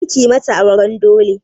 Kar kuyi mata auran dole!